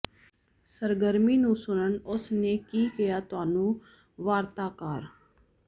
ਸਰਗਰਮੀ ਨੂੰ ਸੁਣਨ ਉਸ ਨੇ ਕੀ ਕਿਹਾ ਤੁਹਾਨੂੰ ਵਾਰਤਾਕਾਰ